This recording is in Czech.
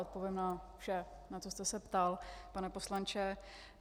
Odpovím na vše, na co jste se ptal, pane poslanče.